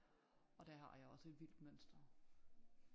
Og der har jeg også et vildt mønster